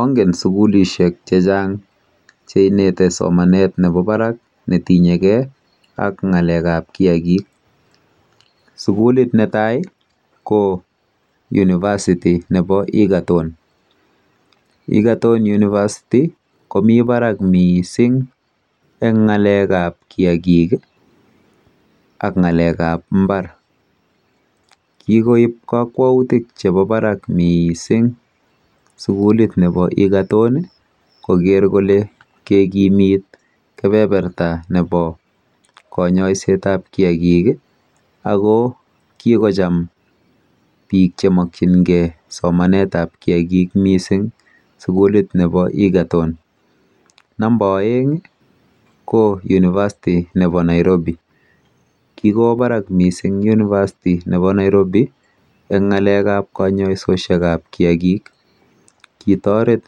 Ongen sukulishek chechang che inete somanet nebo barak ak netinye gee ak ngalekab kiagik, sukulit netaa ko univasitii nebo Egerton, Egerton univasitii komii barak missing en ngalekab kiagik ii ak ngalekab imbar kikoib kokwotik chebo Barak missing sukulit nebo Egerton koger kole kekimit kebeberta nebo konyoiset ab kiagik ii ako kikocham biik che mokyingee somanetab kiagik missing sukulit nebo Egerton. Namba oeng ii ko univasitii nebo Nairobi kikwo barak missing univasitii nebo Nairobi en ngalekab konyoisoset nebo kiagik kitoret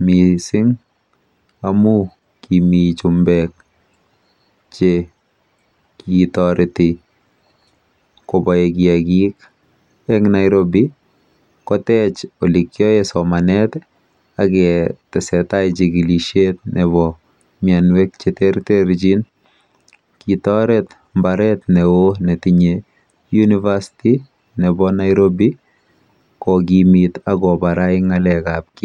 missing amun kimii chumbek che kitoreti kobore kiagik en Nairobi kotech ole kiyoen somanet ii ak tesetai nyigilishet nebo mionwek che terterjin. Kitoret mbaret ne oo netinye univasitii nebo Nairobi kokimit ak kobarait ngalekab